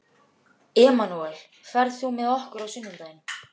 Emanúel, ferð þú með okkur á sunnudaginn?